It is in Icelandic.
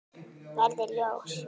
Verði ljós.